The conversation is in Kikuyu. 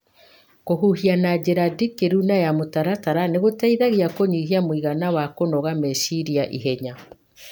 Kũhuhia na njĩra ndikĩru na ya mũtaratara nĩ gũteithagia kũnyihia mũigana wa kũnoga meciria ihenya.